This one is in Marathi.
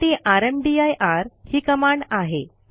त्यासाठी रामदीर ही कमांड आहे